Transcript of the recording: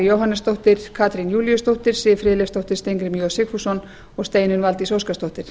jóhannesdóttir katrín júlíusdóttir siv friðleifsdóttir steingrímur j sigfússon og steinunn valdís óskarsdóttir